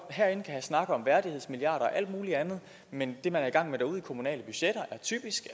snakke om værdighedsmilliarder og alt muligt andet men det man er i gang med derude i de kommunale budgetter er typisk